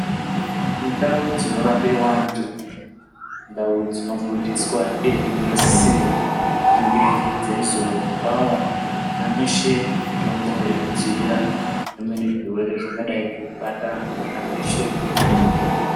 Ndau dzino rapiwa antu indau dzino kundiswa uyezve dzino sisirwa kunge dzeizo pawo ana veshe mutombo yeku dzivirira zvimweni zvirwere zvingadai zveibata vana veshe nguva nge nguva.